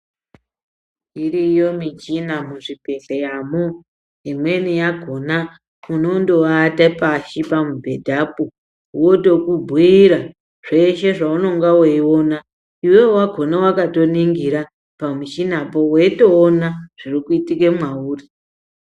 Iriyo michina muzvibhedhleya mo, imweni yakhona unondoata pashi pamubhedhapo wotomubhuira zveshe zveunonga weiona iwewe wakhona wakatoningira pamuchina po weitoona zvirikuitike mwauri.